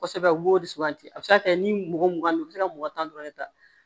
Kosɛbɛ u b'o de suganti a bɛ se ka kɛ ni mɔgɔ mugan bɛ u bɛ se ka mɔgɔ tan dɔrɔn de ta